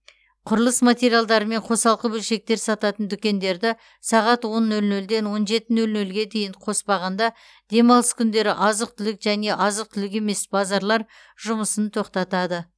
құрылыс материалдары мен қосалқы бөлшектер сататын дүкендерді сағат он нөл нөлден он жеті нөл нөлге дейін қоспағанда демалыс күндері азық түлік және азық түлік емес базарлар жұмысын тоқтатады